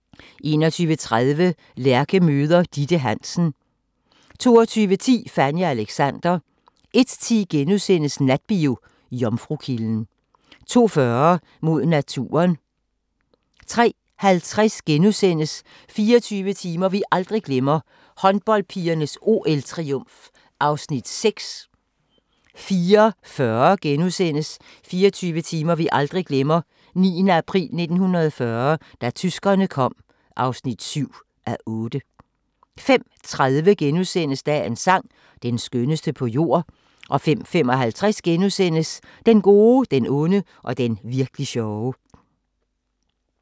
21:30: Lærke møder Ditte Hansen 22:10: Fanny og Alexander 01:10: Natbio: Jomfrukilden * 02:40: Mod naturen 03:50: 24 timer vi aldrig glemmer: Håndboldpigernes OL-triumf (6:8)* 04:40: 24 timer vi aldrig glemmer: 9. april 1940 – da tyskerne kom (7:8)* 05:30: Dagens sang: Den skønneste på jord * 05:55: Den gode, den onde og den virk'li sjove *